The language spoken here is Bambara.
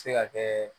Se ka kɛ